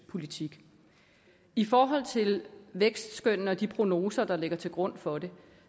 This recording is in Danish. politik i forhold til vækstskønnene og de prognoser der ligger til grund for dem